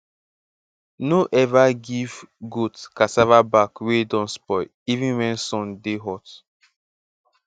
no ever give goat cassava back wey don spoil even when sun dey hot